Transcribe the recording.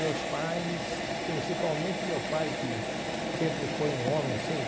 Meus pais, principalmente meu pai, que sempre foi um homem, assim,